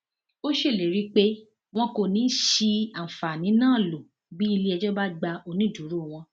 ó ṣèlérí pé wọn kò ní í ṣi àǹfààní náà lò bí iléẹjọ bá gbá onídùúró wọn